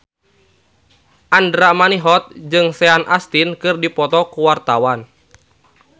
Andra Manihot jeung Sean Astin keur dipoto ku wartawan